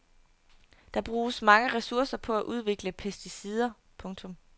Der bruges mange ressourcer på at udvikle pesticider. punktum